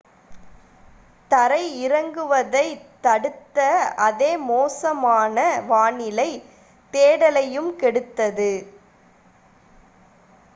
தரை இறங்குவதைத் தடுத்த அதே மோசமான வானிலை தேடலையும் கெடுத்தது